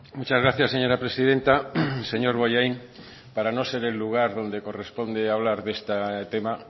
muchas gracias señora presidenta señor bollain para no ser el lugar donde corresponde hablar de este tema